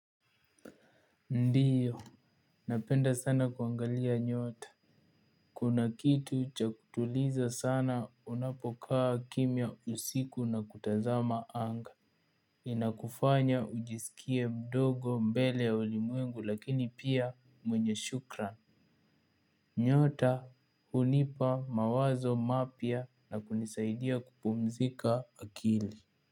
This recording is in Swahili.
Ndio napenda sana kuangalia nyota. Kuna kitu cha ku tuliza sana unapokaa kimya usiku na kutazama anga. Inakufanya ujisikie mdogo mbele ya ulimwengu lakini pia mwenye shukran. Nyota hunipa mawazo mapya na kunisaidia kupumzika akili.